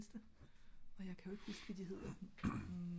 og jeg kan jo ikke huske hvad de hedder